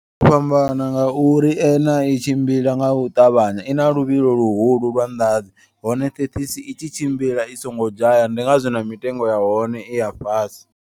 Fhambana ngauri uner a i tshimbila nga u ṱavhanya ina luvhilo luhulu lwa ndadzi. Hone thekhisi i tshi tshimbila i songo dzhaya ndi ngazwo na mitengo ya hone i ya fhasi.